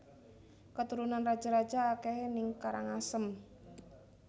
Keturunan raja raja akehe ning Karangasem